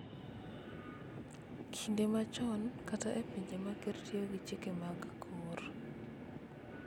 Kinde machon kata e pinje ma ker tiyo gi chike mag akor